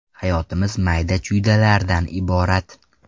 Hayotimiz mayda-chuydalardan iborat.